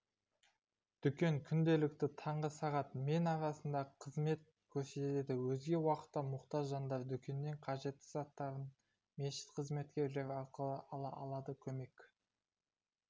дүкен күнделікті таңғы сағат мен арасында қызмет көрсетеді өзге уақытта мұқтаж жандар дүкеннен қажетті заттарын мешіт қызметкерлері арқылы ала алады көмек